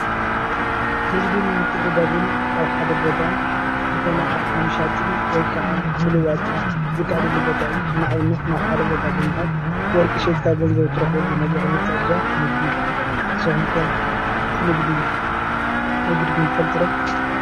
ንግድን ምትዕድዳግን ኣብ ሓደ ቦታ ዝኮነ ኣቅሓ ምሻጥን ወይ ከዓ ምልዋጥን ዝከኣለሉ ቦታ እዩ:: ንኣብነት ናብ ሓደ ቦታ ብምካድ ወርቂ ሽይጥካ ገንዘብ ትረክበሉ ነገር ምትዕድዳግ ንግዲ ይበሃል ንግዲ ነጊድኩም ትፈልጡ ዶ ?